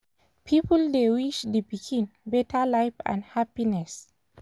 people dey wish the pikin better life and happiness